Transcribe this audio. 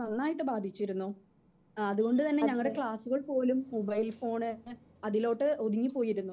Speaker 2 നന്നായിട്ട് ബാധിച്ചിരുന്നു. ഏഹ് അത് കൊണ്ട് തന്നെ ഞങ്ങടെ ക്ലാസ്സുകളിൽ പോലും മൊബൈൽ ഫോൺ അതിലോട്ടു ഒഴുകി പോയിരുന്നു.